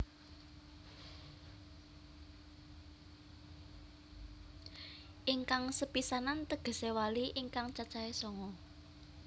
Ingkang sepisanan tegesé wali ingkang cacahe sanga